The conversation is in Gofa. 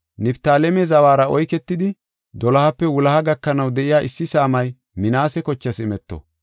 Niftaaleme zawara oyketidi, dolohape wuloha gakanaw de7iya issi saamay Minaase kochaas imeto.